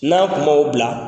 N'a kun man la bila.